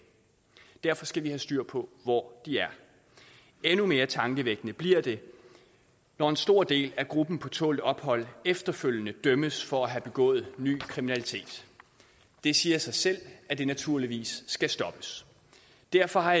derfor skal vi have styr på hvor de er endnu mere tankevækkende bliver det når en stor del af gruppen på tålt ophold efterfølgende dømmes for at have begået ny kriminalitet det siger sig selv at det naturligvis skal stoppes derfor har